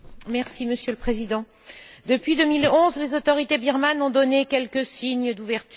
Monsieur le Président, depuis 2011, les autorités birmanes ont donné quelques signes d'ouverture.